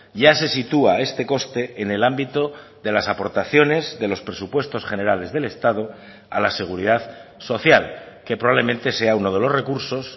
ya se sitúa este coste en el ámbito de las aportaciones de los presupuestos generales del estado a la seguridad social que probablemente sea uno de los recursos